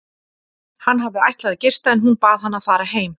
Hann hafði ætlað að gista en hún bað hann að fara heim.